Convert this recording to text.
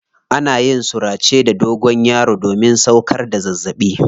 Ana yin surace da ganyen dogonyaro domin sauƙar da zazzaɓi.